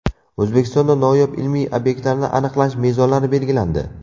O‘zbekistonda noyob ilmiy obyektlarni aniqlash mezonlari belgilandi.